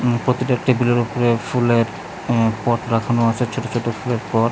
প্রতিটা টেবিলের ওপরে ফুলের আঃ পট রাখানো আছে ছোট ছোট ফুলের পট ।